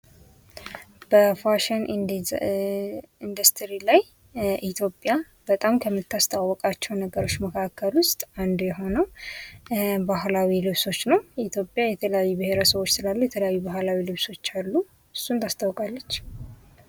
በፋሽን ኢንዱስትሪ ላይ ኢትዮጰያ በጣም ከምታስተዋውቃቸው ነገሮች መካከል ውስጥ አንዱ የሆነው ባህላዊ ልብሶች ነው። ኢትዮጰያ የተለያዩ ብሄረሰቦች ስላሉ የተለያዩ ባህላዊ ልብሶች አሉ እሱን ታስተዋወቃለች።